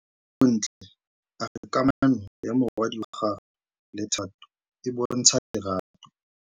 Bontle a re kamanô ya morwadi wa gagwe le Thato e bontsha lerato.